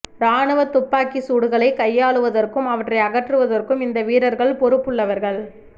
இராணுவத் துப்பாக்கிச் சூடுகளை கையாளுவதற்கும் அவற்றை அகற்றுவதற்கும் இந்த வீரர்கள் பொறுப்புள்ளவர்கள்